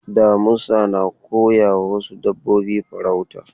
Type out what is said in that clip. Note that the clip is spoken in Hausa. Damisa na koyawa wasu dabbobi farauta.